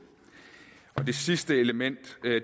det sidste element